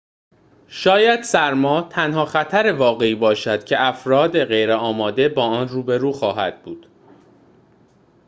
شاید سرما تنها خطر واقعی باشد که افراد غیرآماده با آن روبرو خواهد بود